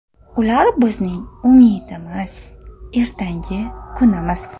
Ular bizning umidimiz, ertangi kunimiz.